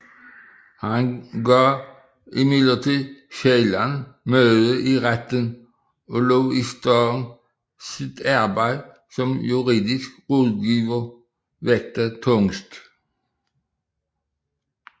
Han gav imidlertid sjældent møde i retten og lod i stedet sit arbejde som juridisk rådgiver vægte tungest